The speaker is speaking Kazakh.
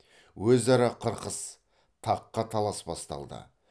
өзара қырқыс таққа талас басталды